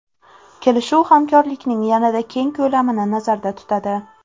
Kelishuv hamkorlikning yanada keng ko‘lamini nazarda tutadi.